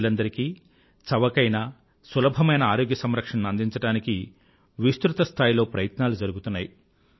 ప్రజలందరికీ చవకైన సులభమైన ఆరోగ్య సంరక్షణను అందించడానికి విస్తృత స్థాయిలో ప్రయత్నాలు జరుగుతున్నాయి